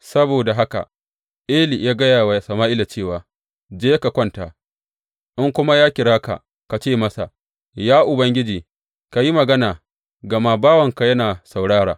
Saboda haka, Eli ya gaya wa Sama’ila cewa, Je ka kwanta, in kuma ya kira ka, ka ce masa, Ya Ubangiji ka yi magana gama bawanka yana saurara.’